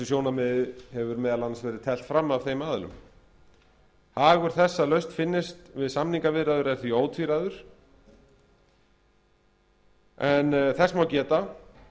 sjónarmiðum hefur meðal annars verið teflt fram af þeim aðilum hagur þess að lausn finnist við samningaviðræður er því ótvíræður en þess má geta að